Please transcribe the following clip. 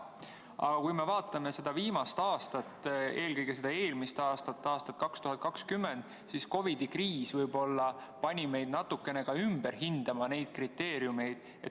Aga kui me vaatame viimast aastat, eelmist aastat, aastat 2020, siis COVID‑i kriis võib-olla pani meid natukene ka ümber hindama neid kriteeriume.